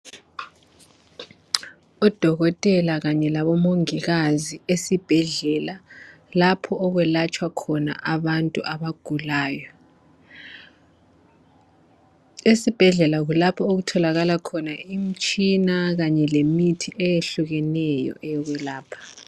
Odokotela kanye labo mongikazi ezibhedlela lapho okwelatshwa khona abantu abagulayo, esibhedlela kulapho okutholakala imitshina kanye lemithi eyehlukeneyo eyokwelapha.